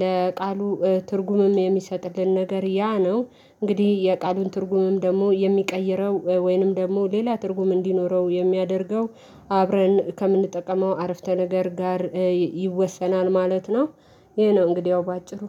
ለቃሉ እ ትርጉምም የሚሰጥልን ነገር ያ ነው። እንግዲህ የቃሉን ትርጉምም ደግሞ የሚቀይረው ወይም ደግሞ ሌላ ትርጉም እንዲኖረው የሚያደርገው አብረን ከምንጠቀመው አረፍተነገር ጋር ይወሰናል ማለት ነው። ይሄ ነው እንግዲህ ያው በአጭሩ